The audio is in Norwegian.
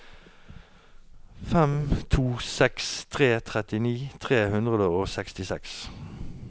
fem to seks tre trettini tre hundre og sekstiseks